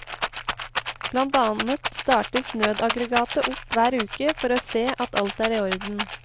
Blant annet startes nødaggregatet opp hver uke for å se at alt er i orden.